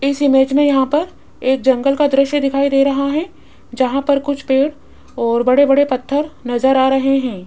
इस इमेज में यहां पर एक जंगल का दृश्य दिखाई दे रहा है जहां पर कुछ पेड़ और बड़े बड़े पत्थर नजर आ रहे हैं।